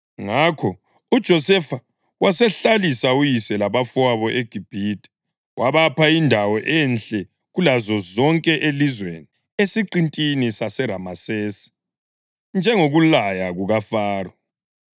Ngakho uJosefa wasehlalisa uyise labafowabo eGibhithe, wabapha indawo enhle kulazo zonke elizweni, esiqintini saseRamesesi, njengokulaya kukaFaro.